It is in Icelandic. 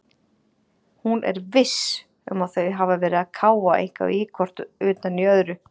Hún er VISS um að þau hafa verið að káfa eitthvað hvort utan í öðru.